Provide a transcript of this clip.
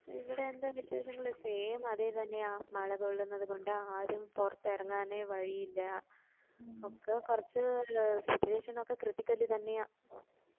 ഇവിടെ എന്താ വിശേഷങ്ങള് same അതേ തന്നെയാ മള കൊള്ളുന്നത് കൊണ്ട് ആരും പൊറത്ത് ഇറങ്ങാൻ വഴിയില്ലാ ക്ക കൊറച്ച് situation ഒക്കെ critical തന്നെയാ